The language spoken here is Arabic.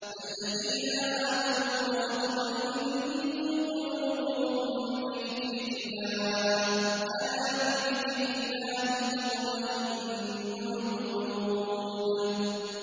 الَّذِينَ آمَنُوا وَتَطْمَئِنُّ قُلُوبُهُم بِذِكْرِ اللَّهِ ۗ أَلَا بِذِكْرِ اللَّهِ تَطْمَئِنُّ الْقُلُوبُ